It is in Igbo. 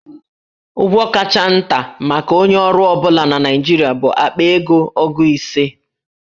Ụgwọ kacha nta maka onye ọrụ ọ bụla na Naịjirịa bụ akpa ego ogu ise.